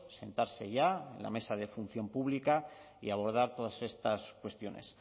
sentarse ya en la mesa de función pública y abordar todas estas cuestiones